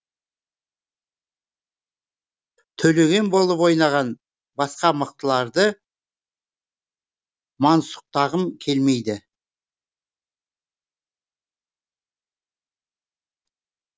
төлеген болып ойнаған басқа мықтыларды мансұқтағым келмейді